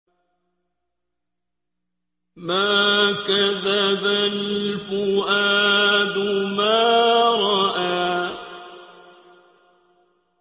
مَا كَذَبَ الْفُؤَادُ مَا رَأَىٰ